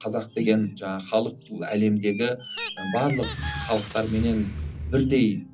қазақ деген жаңағы халық бұл әлемдігі барлық халықтарменен бірдей